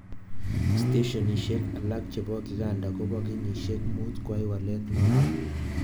Steshenishek alak chebo kikanda kobo kenyishek mut kwai walet notok.